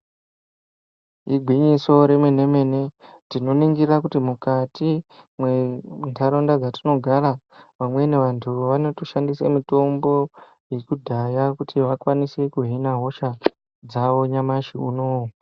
Igwinyiso remene mene tinoningira kuti mukati mwendaraunda dzatinotogara vamweni vantu vanotoshandisa mitombo yekudhaya kuti vakwanise kuhina hosha dzavo nyamashi unoyu.